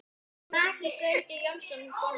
Maki Gauti Jónsson bóndi.